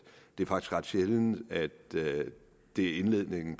det er faktisk ret sjældent at det er indledningen